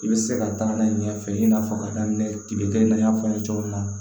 I bɛ se ka taa n'a ye ɲɛfɛ i n'a fɔ ka daminɛ kibike f'an ye cogo min na